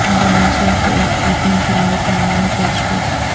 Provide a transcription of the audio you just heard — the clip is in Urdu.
انڈونیشیا کی ایک خاتون فلاحی کاموں میں پیش پیش